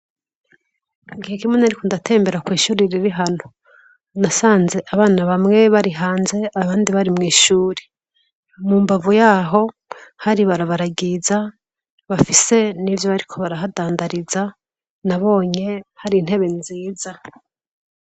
Igihe kimwe nariko ndatembera kw'ishure riri hano. Nasanze abana bamwe bari hanze, abandi bari mw'ishuri. Mu mbavu yaho hari ibarabara ryiza bafise n'ivyo bariko barahadandariza, nabonye hari intebe nziza.